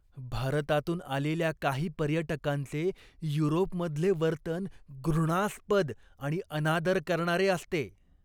भारतातून आलेल्या काही पर्यटकांचे युरोपमधले वर्तन घृणास्पद आणि अनादर करणारे असते.